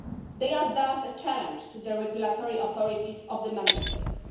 They are thus a challenge to the regulatory authorities of the Member States.